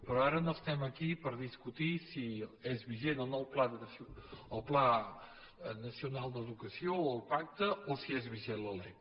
però ara no estem aquí per discutir si és vigent o no el pla nacional d’educació o el pacte o si és vigent la lec